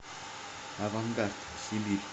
авангард сибирь